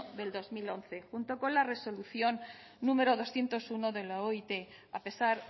de dos mil once junto con la resolución número doscientos uno de la oit a pesar